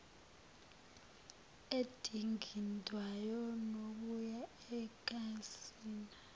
edingidwayo nokuya ocansini